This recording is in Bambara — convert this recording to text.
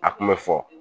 A kun bɛ fɔ